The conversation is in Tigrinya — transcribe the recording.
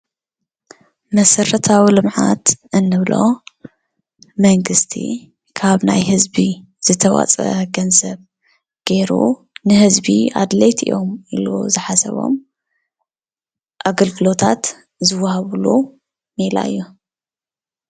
መሰረታዊ ልምዓት እንብሎ መንግስቲ ካብ ናይ ህዝቢ ዝተዋፅአ ገንዘብ ገይሩ ንህዝቢ ኣድለይቲ እዮም ኢሉ ዝሓሰቦም ኣገልግሎታት ዝወሃብሉ ሜላ እዩ፡፡